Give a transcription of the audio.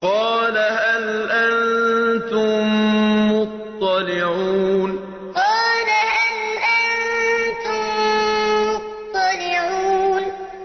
قَالَ هَلْ أَنتُم مُّطَّلِعُونَ قَالَ هَلْ أَنتُم مُّطَّلِعُونَ